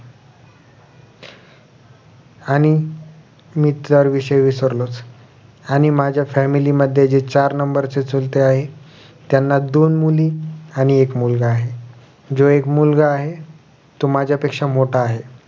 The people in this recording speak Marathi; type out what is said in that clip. आणि मित्रांविषयी विसरलोच आणि माझ्या family मध्ये जे चार number चे चुलते आहेत त्यांना दोन मुली आणि एक मुलगा आहे जो एक मुलगा आहे तो माझ्या पेक्षा मोठा आहे